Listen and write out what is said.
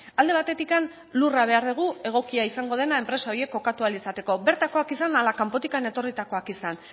alde batetik lurra behar dugu egokia izango dena enpresa horiek kokatu ahal izatekoa bertakoak izan ala kanpotik etorritakoak izan